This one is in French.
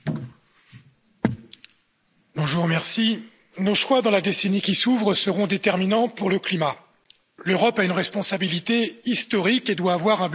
Monsieur le Président, nos choix, dans la décennie qui s'ouvre, seront déterminants pour le climat. L'Europe a une responsabilité historique et doit avoir un budget à la hauteur des enjeux.